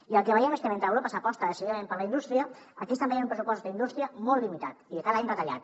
i el que veiem és que mentre a europa s’aposta decididament per la indústria aquí estem veient un pressupost d’indústria molt limitat i cada any retallat